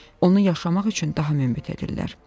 Onu yaşamaq üçün daha münbit edirlər.